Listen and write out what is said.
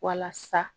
Walasa